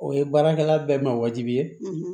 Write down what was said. O ye baarakɛla bɛɛ ma wajibi ye